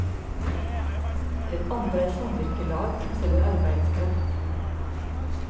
Den andre er samvirkelag som selger arbeidskraft.